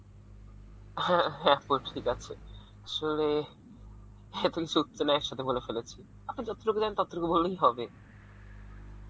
হ্যাঁ হ্যাঁ আপু ঠিক আসে আসলে এত এক সথে বলে ফেলেছি আপনি যতটুকু জানেন ততটুকু বললেই হবে